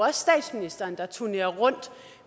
er statsministeren der turnerer rundt